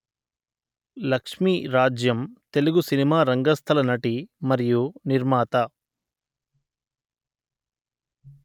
లక్ష్మీరాజ్యం తెలుగు సినిమా రంగస్థల నటి మరియు నిర్మాత